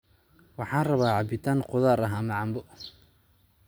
Waxaan rabaa cabitaan khudaar ah ama cambo